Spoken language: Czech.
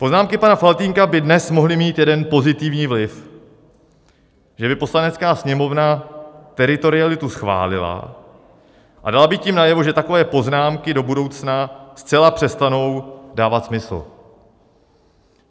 Poznámky pana Faltýnka by dnes mohly mít jeden pozitivní vliv: že by Poslanecká sněmovna teritorialitu schválila a dala by tím najevo, že takové poznámky do budoucna zcela přestanou dávat smysl.